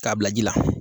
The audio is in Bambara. K'a bila ji la